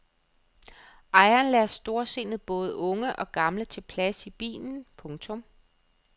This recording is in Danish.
Ejeren lader storsindet både unge og gamle tage plads i bilen. punktum